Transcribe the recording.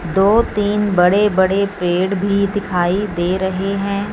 दो तीन बड़े बड़े पेड़ भी दिखाई दे रहे हैं।